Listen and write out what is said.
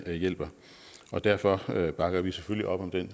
der hjælper og derfor bakker vi selvfølgelig op om det